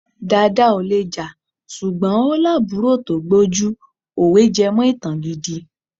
Dàda ò le jà ṣùgbọ́n ó lábùúrò tó gbójú. Òwe jẹ́mọ ìtàn gidi.